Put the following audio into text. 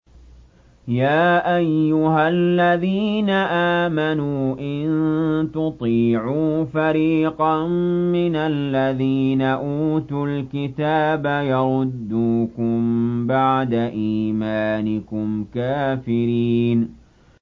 يَا أَيُّهَا الَّذِينَ آمَنُوا إِن تُطِيعُوا فَرِيقًا مِّنَ الَّذِينَ أُوتُوا الْكِتَابَ يَرُدُّوكُم بَعْدَ إِيمَانِكُمْ كَافِرِينَ